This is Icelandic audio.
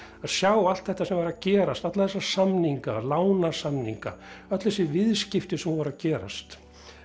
að sjá allt þetta sem var að gerast alla þessa samninga lánasamninga öll þessi viðskipti sem voru að gerast